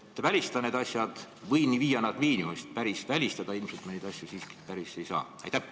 Kuidas selliseid asju välistada või viia nad miinimumi, sest päris välistada me neid ilmselt siiski ei saa?